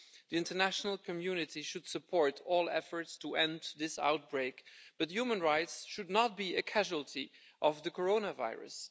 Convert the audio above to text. The international community should support all efforts to end this outbreak, but human rights should not be a casualty of the coronavirus.